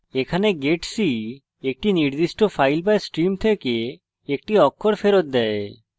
এখানে getc একটি নির্দিষ্ট file বা stream থেকে একটি অক্ষর ফেরত দেয়